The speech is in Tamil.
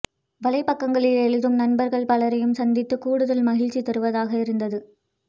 வலைபக்கங்களில் எழுதும் நண்பர்கள் பலரையும் சந்தித்தது கூடுதல் மகிழ்ச்சி தருவதாக இருந்தது